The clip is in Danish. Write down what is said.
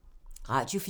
Radio 4